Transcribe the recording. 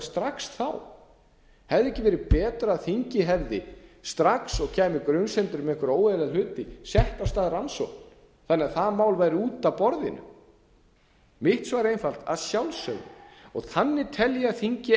strax þá hefði ekki verið betra að þingið hefði strax og kæmu grunsemdir um einhverja óeðlilega hluti sett á stað rannsókn þannig að það mál væri út af borðinu mitt svar er einfalt að sjálfsögðu þannig tel ég að þingið eigi